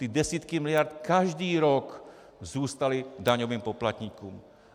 Ty desítky miliard každý rok zůstaly daňovým poplatníkům.